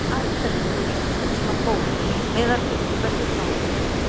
Af hverju eru Ísland svona góðir miðað við hversu fá við erum?